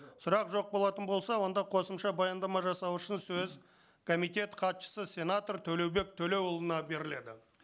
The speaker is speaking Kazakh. сұрақ жоқ болатын болса онда қосымша баяндама жасау үшін сөз комитет хатшысы сенатор төлеубек төлеұлына беріледі